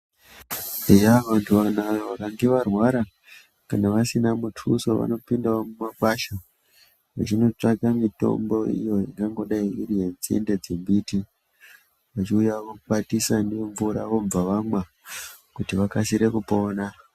Eya vantu vanaya vakange varwara kana vasina mutuso vanopindawo mumakwasha vechinotevaka mutombo iyo ingangodai iri nzinde dzembiti